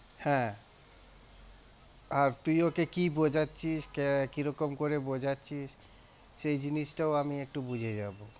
হ্যাঁ, আর তুই ওকে কি বোঝাচ্ছিস কিরকম করে বোঝাচ্ছিস সেই জিনিসটাও আমি একটু বুঝে যাবো।